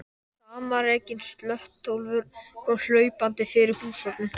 Samanrekinn slöttólfur kom hlaupandi fyrir húshornið.